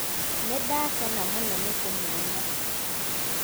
Nĩndakena mũno nĩkũmũona.